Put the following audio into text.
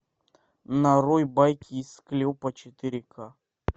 нарой байки из склепа четыре ка